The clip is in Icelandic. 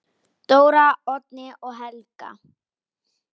Dóra, Oddný og Helga.